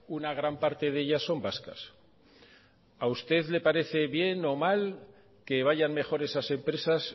una gran parte de ellas son vascas a usted le parece bien o mal que vayan mejor esas empresas